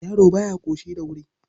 Yaro ba ya ƙoshi da wuri..